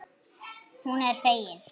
Hún er fegin.